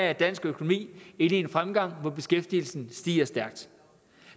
er dansk økonomi inde i en fremgang hvor beskæftigelsen stiger stærkt